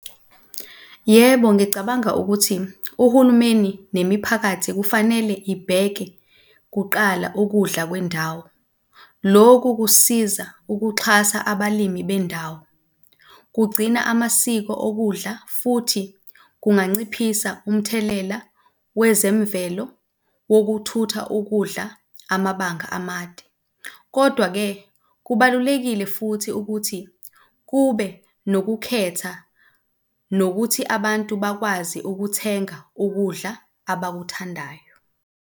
Yebo, ngicabanga ukuthi uhulumeni nemiphakathi kufanele ibheke kuqala ukudla kwendawo. Loku kusiza ukuxhasa abalimi bendawo, kugcina amasiko okudla futhi kunganciphisa umthelela wezemvelo wokuthutha ukudla amabanga amade. Kodwa-ke kubalulekile futhi ukuthi kube nokukhetha, nokuthi abantu bakwazi ukuthenga ukudla abakuthandayo.